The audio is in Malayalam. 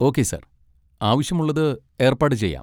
Okay sir. ആവശ്യമുള്ളത് ഏർപ്പാട് ചെയ്യാം.